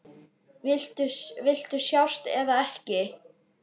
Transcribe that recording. Viltu sjást eða ekki?